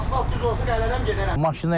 Asfalt düz olsa gələrəm gedərəm.